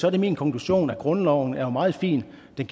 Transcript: er det min konklusion at grundloven jo er meget fin men